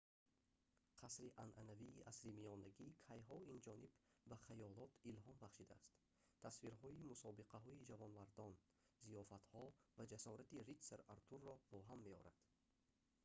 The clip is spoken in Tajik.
қасри анъанавии асримиёнагӣ кайҳо инҷониб ба хаёлот илҳом бахшидааст тасвирҳои мусобиқаҳои ҷавонмардон зиёфатҳо ва ҷасорати ритсар артурро ба ҳам меорад